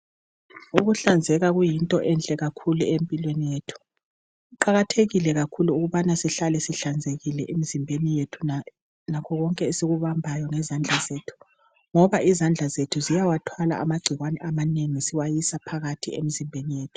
Ukuhlanzeka kuyinto enhle kakhulu empilweni yethu. Kuqakathekile kakhulu ukubana sihlale sihlanzekile emzimbeni yethu lakho konke esikubambayo ngezandla zethu, ngoba izandla zethu ziyawathwala amagcikwane amanengi ziwase phakathi emzimbeni yethu.